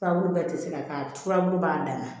Furabulu bɛɛ tɛ se ka k'a la furabulu b'a dan na